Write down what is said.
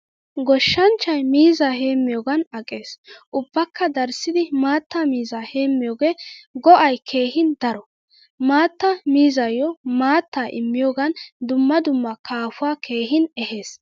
Goshshanchchay miizzaa heemiyogan aqqees. Ubbaka darissidi maattaa miizzaa heemiyoge go'ay keehin daro. Maattaa miizzayu maattaa immiyogan dumma dumma kaafuwaa keehin ehees.